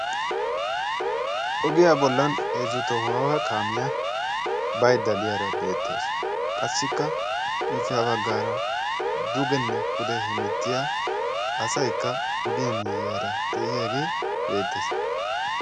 ogiya bolla heezzu tohuwawa kaamiya baydda diyaara beettawusu, qassikka ippe ha baggaara dugenne pude hemettiya asaykka ogiyaa miyiyaara de'iyaage beettees.